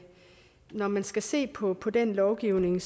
når man skal se på på den lovgivning